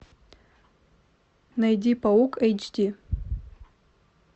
найди паук эйч ди